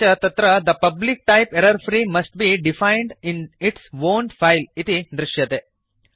अपि च तत्र the public type error free must be defined in its own file इति दृश्यते